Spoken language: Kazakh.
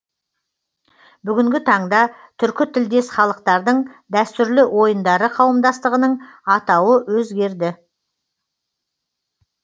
бүгінгі таңда түркі тілдес халықтардың дәстүрлі ойындары қауымдастығының атауы өзгерді